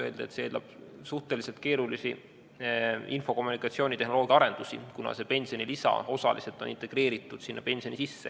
Öeldi, et see eeldab suhteliselt keerulisi IKT-arendusi, kuna see pensionilisa on osaliselt integreeritud sinna pensioni sisse.